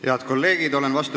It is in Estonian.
Head kolleegid!